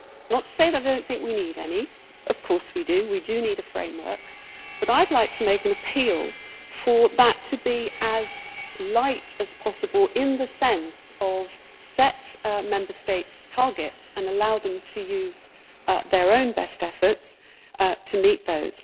That is not to say that I do not think we need any of course we do, we do need a framework but I would like to make an appeal for that to be as light as possible in the sense of setting Member States' targets and allowing them to use their own best efforts to meet those.